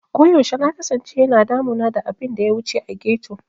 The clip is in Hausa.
Koyaushe na kasance yana damuna da abin da ya wuce a ghetto.